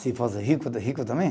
Se fosse rico, de rico também.